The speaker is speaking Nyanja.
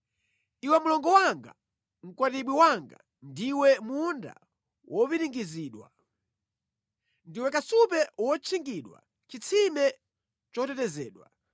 Iwe mlongo wanga, mkwatibwi wanga, ndiwe munda wopiringidzidwa; ndiwe kasupe wotchingidwa, chitsime chotetezedwa.